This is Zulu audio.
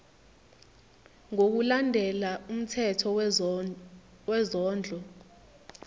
ngokulandela umthetho wezondlo